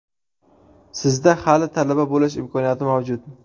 Sizda hali talaba bo‘lish imkoniyati mavjud!